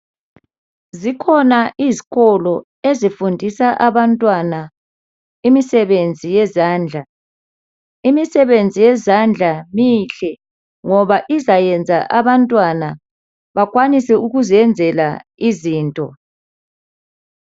Zikhona izikolo ezifundisa abantwana imisebenzi yezandla imisebenzi yezandla mihle ngoba izayenza abantwana bakwanise ukuziyenzela izinto